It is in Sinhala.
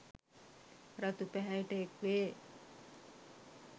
රතු පැහැයට එක්වේ